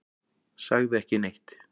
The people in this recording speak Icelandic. Sagði ekki neitt.